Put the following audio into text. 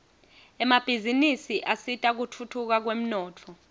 emabhizinisi asita kutfutfuka kwemnotfo